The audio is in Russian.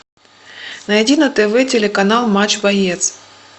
найди на тв телеканал матч боец